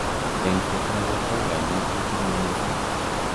Engset ab borto ko kanyaishet ne o mising.